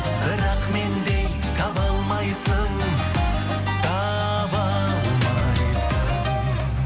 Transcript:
бірақ мендей таба алмайсың таба алмайсың